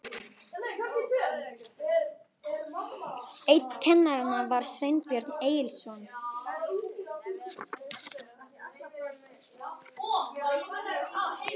Einn kennara var Sveinbjörn Egilsson, faðir Benedikts.